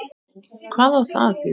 Hvað á það að þýða?